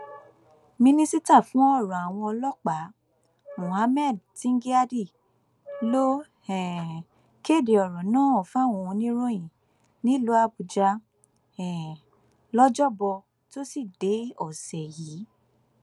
mínísítà fún ọrọ àwọn ọlọpàá muhammad tingyadi ló um kéde ọrọ náà fáwọn oníròyìn nílùú àbújá um lọjọbọ tosidee ọsẹ yìí